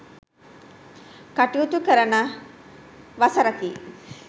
කටයුතු කරන වසරකි.